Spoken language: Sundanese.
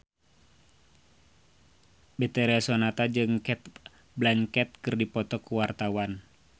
Betharia Sonata jeung Cate Blanchett keur dipoto ku wartawan